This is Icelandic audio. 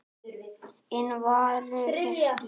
Inn vari gestur